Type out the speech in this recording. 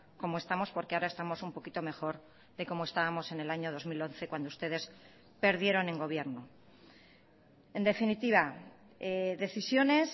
como estamos porque ahora estamos un poquito mejor de como estábamos en el año dos mil once cuando ustedes perdieron en gobierno en definitiva decisiones